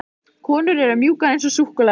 Konur eru mjúkar eins og súkkulaði.